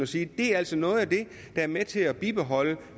sige det er altså noget af det der er med til at bibeholde